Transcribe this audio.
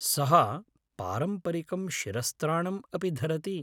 सः पारम्परिकं शिरस्त्राणम् अपि धरति।